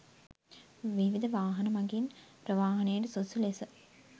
විවිධ වාහන මගින් ප්‍රවාහනයට සුදුසු ලෙස